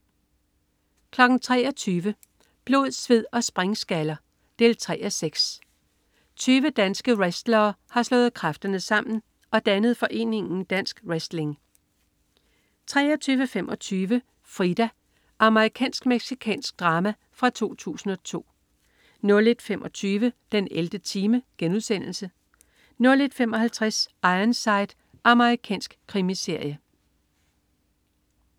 23.00 Blod, sved og springskaller. 3:6 20 danske wrestlere har slået kræfterne sammen og dannet foreningen Dansk Wrestling 23.25 Frida. Amerikansk-mexikansk drama fra 2002 01.25 den 11. time* 01.55 Ironside. Amerikansk krimiserie